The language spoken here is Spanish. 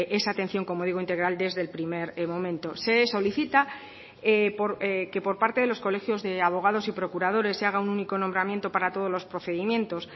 esa atención como digo integral desde el primer momento se solicita que por parte de los colegios de abogados y procuradores se haga un único nombramiento para todos los procedimientos